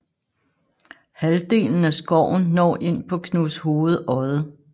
Halvdelen af skoven når ind på Knudshoved Odde